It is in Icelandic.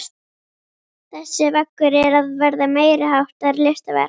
Þessi veggur er að verða meiriháttar listaverk!